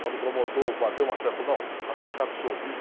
Quando o promotor bateu o martelo, falou, não, o rapaz está absorvido.